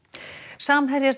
samherjar